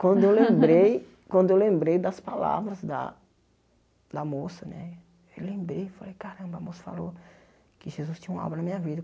Quando eu lembrei, quando eu lembrei das palavras da da moça né, eu lembrei e falei, caramba, a moça falou que Jesus tinha uma obra na minha vida.